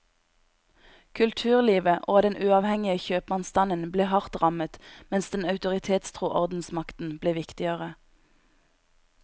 Kulturlivet og den uavhengige kjøpmannsstanden ble hardt rammet mens den autoritetstro ordensmakten ble viktigere.